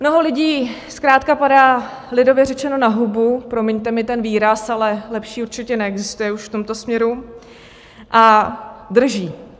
Mnoho lidí zkrátka padá, lidově řečeno, na hubu, promiňte mi ten výraz, ale lepší určitě neexistuje už v tomto směru, a drží.